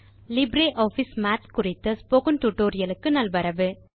LibreOffice Math குறித்த spoken tutorial க்கு நல்வரவு